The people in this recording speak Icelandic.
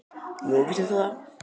Nú, vissir þú það?